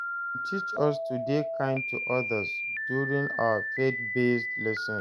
Dem teach us to dey kind to others during our faith-based lessons.